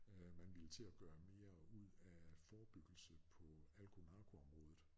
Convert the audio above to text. Man ville til at gøre mere ud af forebyggelse på alko- narkoområdet